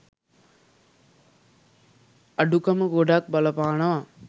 අඩුකම ගොඩක් බලපානවා.